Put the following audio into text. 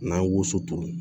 N'an ye woso turu